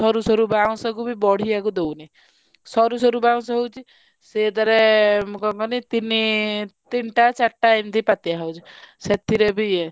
ସଋ ବାଉଁଶ କୁ ବି ବଢିଆ କୁ ଦଉନି ସରୁ ସରୁ ବାଉଁଶ ହଉଛି ସେଥିରେ କଣ କହନି ତିନି ତିନିଟା ଚାଟା ଏମିତି ପାତିଆ ହଉଛି ସେଥିରେ ବି ଇଏ ଆ,